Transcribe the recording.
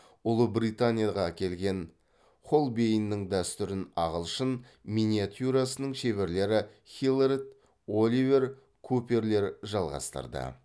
ұлыбританияға келген хольбейннің дәстүрін ағылшын миниатюрасының шеберлері хиллиард оливер куперлер жалғастырды